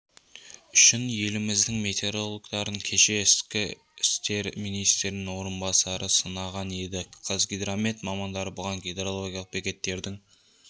үшін еліміздің метеорологтарын кеше ішкі істер министрінің орынбасары сынаған еді қазгидромет мамандары бұған гидрологиялық бекеттердің